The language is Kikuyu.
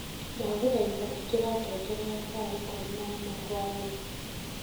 ndagũthaitha ĩkĩra ngengere ya thaa ĩkũmĩ naĩmwe hwaĩnĩ